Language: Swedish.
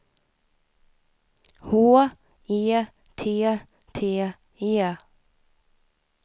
H E T T E